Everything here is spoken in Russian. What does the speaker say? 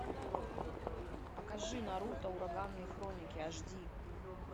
покажи наруто ураганные хроники аш ди